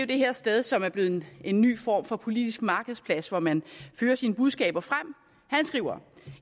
det her sted som er blevet en ny form for politisk markedsplads hvor man fører sine budskaber frem